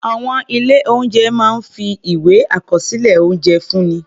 Àwọn ilé-oúnjẹ máa ń fi ìwé àkọsílẹ̀ oúnjẹ fúnni.